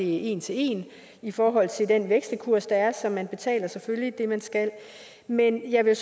en til en i forhold til den vekselkurs der er så man betaler selvfølgelig det man skal men jeg vil